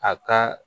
A ka